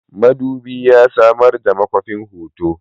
Madubi yana samar da makwafin hoto.